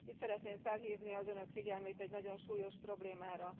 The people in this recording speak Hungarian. Itt szeretném felhívni az Önök figyelmét egy nagyon súlyos problémára.